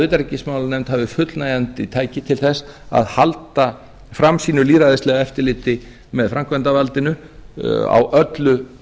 utanríkismálanefnd hafi fullnægjandi tæki til þess að halda fram sínu lýðræðislega eftirliti með framkvæmdarvaldinu á öllu